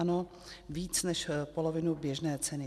Ano, víc než polovinu běžné ceny.